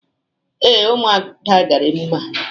Ee, Umuada gara emume a